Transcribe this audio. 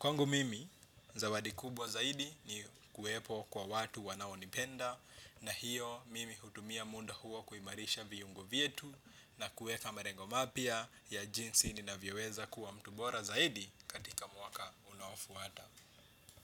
Kwangu mimi, zawadi kubwa zaidi ni kuuepo kwa watu wanaonipenda na hiyo mimi hutumia muda huo kuimarisha viungo vyetu na kueka malengo mapya ya jinsi ninavyeweza kuwa mtu bora zaidi katika mwaka unofuata.